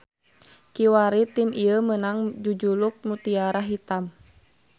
Kiwari tim ieu meunang jujuluk Mutiara Hitam.